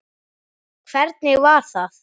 Hvernig var það?